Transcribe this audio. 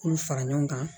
K'u fara ɲɔgɔn kan